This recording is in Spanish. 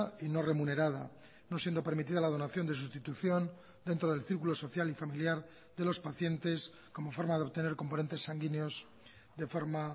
y no remunerada no siendo permitida la donación de sustitución dentro del círculo social y familiar de los pacientes como forma de obtener componentes sanguíneos de forma